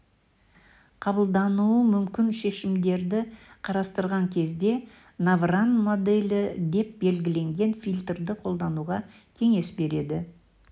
қабылдануы мүмкін шешімдерді қарастырған кезде навран моделі деп белгіленген фильтрді қолдануға кеңес береді